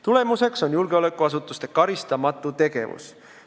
Tulemuseks on julgeolekuasutuste karistamatu tegevus.